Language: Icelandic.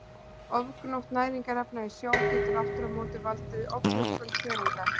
Ofgnótt næringarefna í sjó getur aftur á móti valdið offjölgun þörunga.